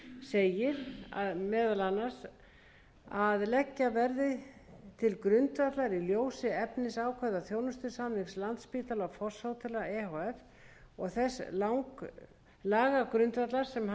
segir meðal annars að leggja verði til grundvallar í ljósi efnisákvæða þjónustusamnings landspítala og fosshótela e h f og þess lagagrundvallar sem hann er reistur á